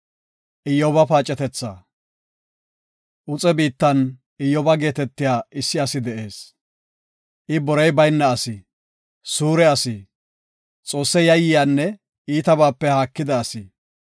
Uxe biittan Iyyoba geetetiya issi asi de7ees; I borey bayna asi, suure asi, Xoosse yayyiyanne iitabaape haakida asi.